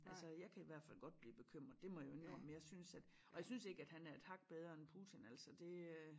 Altså jeg kan i hvert fald godt blive bekymret det må jeg jo indrømme jeg synes at og jeg synes ikke at han er et hak bedre end Putin altså det øh